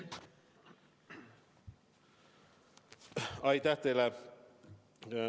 Aitäh teile!